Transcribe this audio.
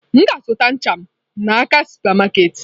M ga-azụta ncha m n'aka super market.